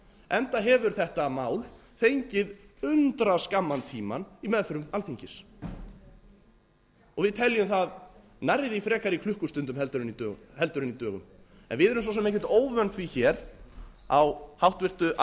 enda hefur þetta mál fengið undraskamman tíma í meðförum alþingis og við teljum það nærri því frekar í klukkustundum en í dögum við erum svo sem ekkert óvön því hér á háttvirtu